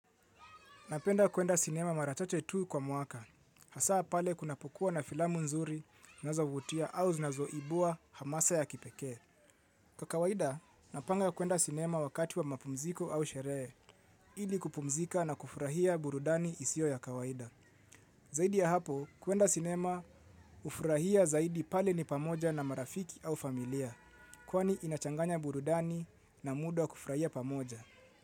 Napenda kuenda sinema mara tote tu kwa mwaka. Hasaa pale kunapokua na filamu nzuri nazovutia au zienazoibua hamasa ya kipekee. Kwa kawaida, napanga kuenda sinema wakati wa mapumziko au sherehe, ili kupumzika na kufurahia burudani isiyo ya kawaida. Zaidi ya hapo, kuenda sinema hufurahia zaidi pale ni pamoja na marafiki au familia. Kwani, inachanganya burudani na muda wa kufurahia pamoja.